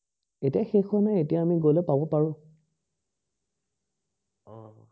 এতিয়া শেষ হোৱা এতিয়া আমি গলে পাব পাৰো